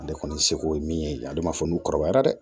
Ale kɔni seko ye min ye ale ma fɔ n'u kɔrɔbayara dɛ